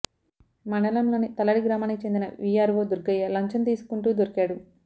మండలంలోని తల్లడి గ్రామానికి చెందిన వీఆర్వో దుర్గయ్య లంచం తీసుకుంటూ దొరికాడు